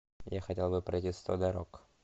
я хотел бы пройти сто дорог